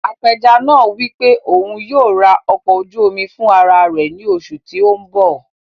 Apẹja náà wí pé òun yóò rà ọkọ̀ ojú omi fún ara rẹ̀ ní oṣù tí o n bọ̀